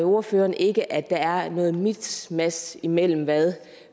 ordføreren ikke at der er noget miskmask i mellem hvad